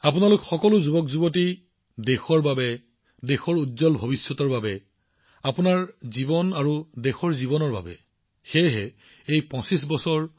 আৰু আপোনালোক সকলোৱে দেশৰ উজ্জ্বল ভৱিষ্যতৰ বাবে চেষ্টা কৰা উচিত কিয়নো এই ২৫ বছৰ অতি গুৰুত্বপূৰ্ণ আপোনাৰ জীৱনৰ লগতে দেশৰ জীৱনৰ বাবে মই আপোনালোকলৈ শুভেচ্ছা জনাইছো